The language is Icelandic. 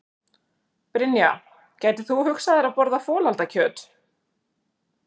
Brynja: Gætir þú hugsað þér að borða folaldakjöt?